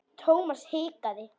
Thomas hikaði.